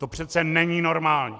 To přeci není normální!